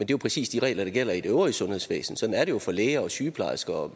jo præcis de regler der gælder i det øvrige sundhedsvæsen sådan er det jo for læger og sygeplejersker og